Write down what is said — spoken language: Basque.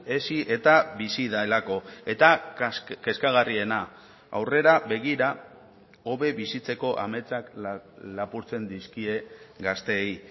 hezi eta bizi delako eta kezkagarriena aurrera begira hobe bizitzeko ametsak lapurtzen dizkie gazteei